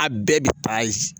A bɛɛ bɛ